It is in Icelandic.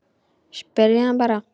Spyrjið hana bara.